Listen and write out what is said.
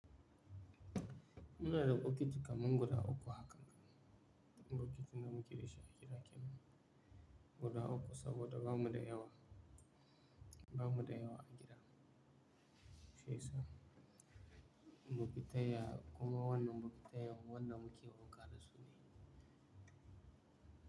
Muna da bokiti kamar guda uku hakan. Bokitin da muke da shi a gida kenan. Guda uku saboda bamu da yawa, ba mu da yawa a gida. Shi yasa bokiti ya kuma wannan bokiti ya wanda muke wunka da su ne.